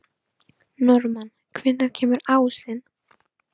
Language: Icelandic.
Norðmann, hvenær kemur ásinn?